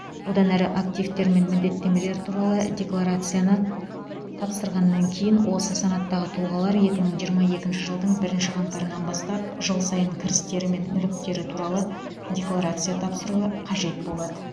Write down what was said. одан әрі активтер мен міндеттемелер туралы декларацияны тапсырғаннан кейін осы санаттағы тұлғалар екі мың жиырма екінші жылдың бірінші қаңтарынан бастап жыл сайын кірістері мен мүліктері туралы декларация тапсыруы қажет болады